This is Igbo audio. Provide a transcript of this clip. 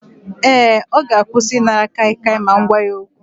Ee, ọ ga-akwụsị ịnara kaikai ma m gwa ya okwu